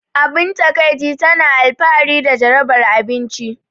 Abin takaici, tana alfahari da jarabar abinci.